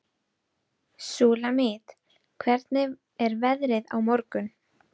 Súlamít, hvernig er veðrið á morgun?